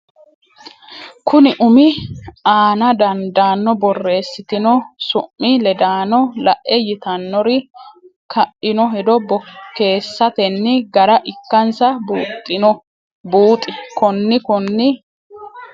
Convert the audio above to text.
konni umi aana dandaanno borreessitino su mi ledaano la e yitannori ka ino hedo bokkeessatenni gara ikkansa buuxi konni konni.